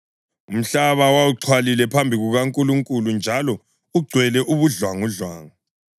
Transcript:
Umhlaba wawuxhwalile phambi kukaNkulunkulu njalo ugcwele ubudlwangudlwangu.